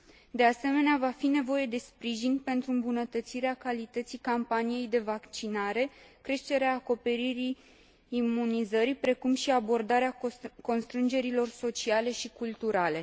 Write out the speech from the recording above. De asemenea, va fi nevoie de sprijin pentru îmbunătățirea calității campaniei de vaccinare, creșterea acoperirii imunizării, precum și abordarea constrângerilor sociale și culturale.